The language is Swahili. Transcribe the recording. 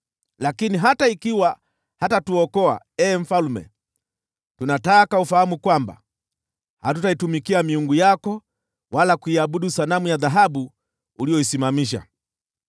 Lakini hata ikiwa hatatuokoa, ee mfalme, tunataka ufahamu kwamba, hatutaitumikia miungu yako wala kuiabudu sanamu ya dhahabu uliyoisimamisha.”